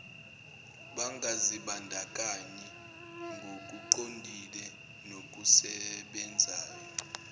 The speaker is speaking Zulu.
bangazibandakanyi ngokuqondile nokusebenzayo